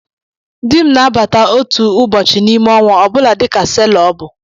Dị m na-abata otu ụbọchị n'ime ọnwa ọ bụla dịka selọ ọ bụ.